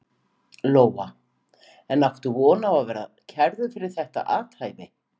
Lóa: En áttu von á því að verða kærður fyrir þetta athæfi?